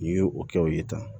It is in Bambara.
N'i ye o kɛ o ye tan